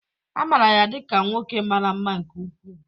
A maara ya dị ka nwoke mara mma nke ukwuu